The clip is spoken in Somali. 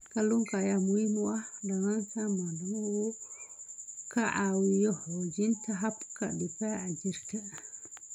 Kalluunka ayaa muhiim u ah dhallaanka maadaama uu ka caawiyo xoojinta habka difaaca jirka.